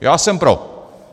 Já jsem pro!